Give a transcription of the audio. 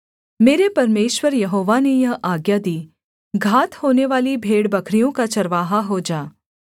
मेरे परमेश्वर यहोवा ने यह आज्ञा दी घात होनेवाली भेड़बकरियों का चरवाहा हो जा